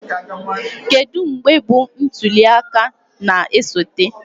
Kedu mgbe bụ ntuli aka na-esote?